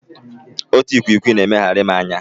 Otu ikwikwii na-emegharị m anya.